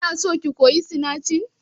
Kinason ki koyi sinanci?